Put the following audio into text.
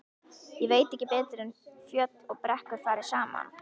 Ég veit ekki betur en fjöll og brekkur fari saman.